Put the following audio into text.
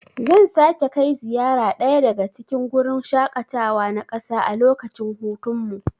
Zan sake kai ziyara daya daga cikin gurin shaƙatawa na ƙasa a lokacin hutunmu.